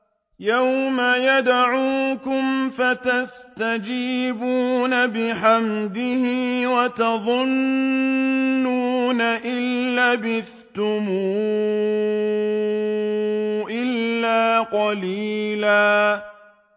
يَوْمَ يَدْعُوكُمْ فَتَسْتَجِيبُونَ بِحَمْدِهِ وَتَظُنُّونَ إِن لَّبِثْتُمْ إِلَّا قَلِيلًا